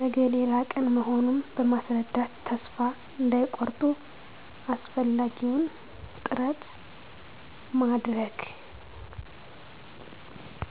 ነገ ሌላ ቀን መሆኑን በማስረዳት ተስፋ እንዳይቆርጡ አስፈላጊውን ጥረት ማድረግ